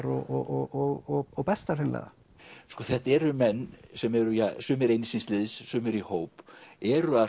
og bestar hreinlega þetta eru menn sem eru sumir einir síns liðs sumir í hóp eru að